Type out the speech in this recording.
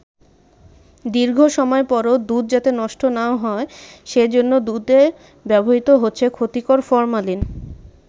দীর্ঘ সময় পরও দুধ যাতে নষ্ট না হয় সে জন্য দুধে ব্যবহৃত হচ্ছে ক্ষতিকর ফরমালিন।